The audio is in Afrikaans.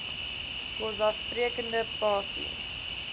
xhosa sprekende pasi